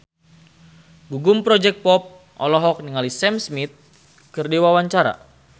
Gugum Project Pop olohok ningali Sam Smith keur diwawancara